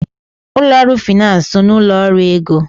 Ụlọ ọrụ finansi so n'ụlọ ọrụ ego.